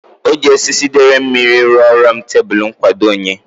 O jiri osisi dere mmiri ruru m tebulu nkwadoonwe.